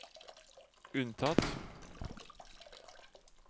unntatt